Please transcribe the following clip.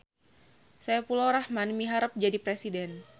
Saepulrohman miharep jadi presiden